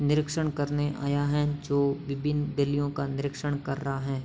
निरीक्षण करने आया है जो विभिन्न गलियों का निरीक्षण कर रहा है।